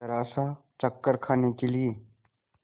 जरासा चक्कर खाने के लिए